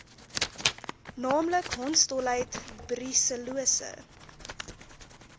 naamlik hondsdolheid brusellose